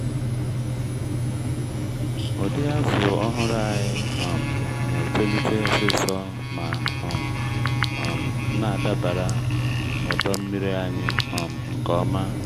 ụdị azù ọhụrụ anyị um na-etolite osisor ma um um na-adabara ọdọ nmiri anyị um nke ọma.